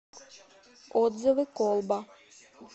отзывы колба